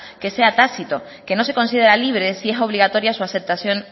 que sea tácito que no se considere libre si es obligatoria su aceptación